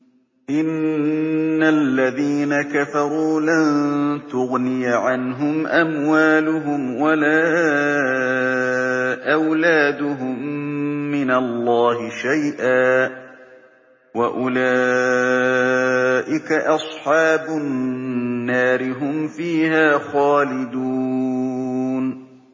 إِنَّ الَّذِينَ كَفَرُوا لَن تُغْنِيَ عَنْهُمْ أَمْوَالُهُمْ وَلَا أَوْلَادُهُم مِّنَ اللَّهِ شَيْئًا ۖ وَأُولَٰئِكَ أَصْحَابُ النَّارِ ۚ هُمْ فِيهَا خَالِدُونَ